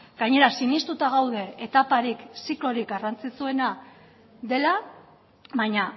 gainera sinestuta gaude etaparik ziklorik garrantzitsuena dela baina